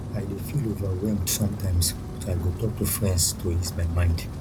i dey feel overwhelmed sometimes but i go talk to friends to ease my mind